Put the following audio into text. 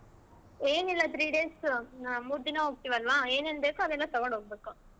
ಏನಿಲ್ಲಾ three days ನಾವ್ ಮೂರ್ ದಿನಾ ಹೋಗ್ತಿವ್ ಅಲ್ವಾ ಏನೇನ್ ಬೇಕೋ ಅವೆಲ್ಲಾ ತಗೊಂಡ್ ಹೊಗ್ಬೇಕು.